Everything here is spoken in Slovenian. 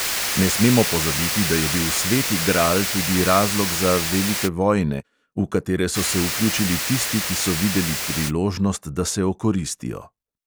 Ne smemo pozabiti, da je bil sveti gral tudi razlog za velike vojne, v katere so se vključili tisti, ki so videli priložnost, da se okoristijo.